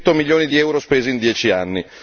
600 milioni di euro spesi in dieci anni.